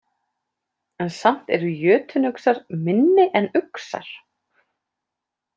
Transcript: En samt eru jötunuxar minni en uxar.